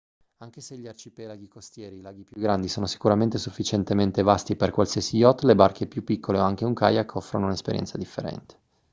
anche se gli arcipelaghi costieri e i laghi più grandi sono sicuramente sufficientemente vasti per qualsiasi yacht le barche più piccole o anche un kayak offrono un'esperienza differente